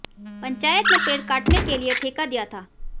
पंचायत ने पेड़ काटने के लिए ठेका दिया था